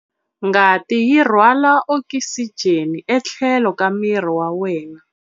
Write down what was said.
Ngati yi rhwala okisijeni etlhelo ka miri wa wena